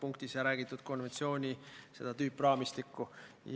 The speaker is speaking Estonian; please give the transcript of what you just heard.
Ma saan aru, et ühendust on võimalik võtta eri kanaleid pidi.